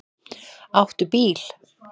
Áttu bíl?